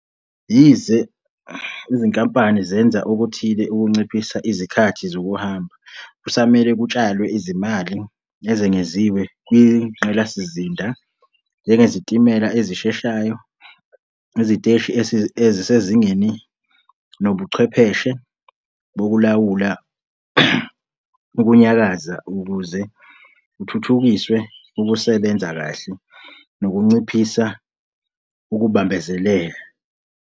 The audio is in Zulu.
Yize izinkampani zenza okuthile ukunciphisa izikhathi zokuhamba, kusamele kutshalwe izimali ezengeziwe kwingqalasizinda njengezitimela ezisheshayo, iziteshi ezisezingeni nobuchwepheshe bokulawula ukunyakaza ukuze kuthuthukiswe ukusebenza kahle nokunciphisa ukubambezeleka.